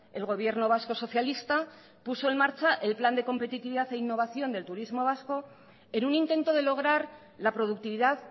el gobierno vasco socialista puso en marcha el plan de competitividad e innovación del turismo vasco en un intento de lograr la productividad